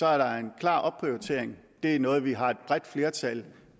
er der en klar opprioritering det er noget vi har et bredt flertal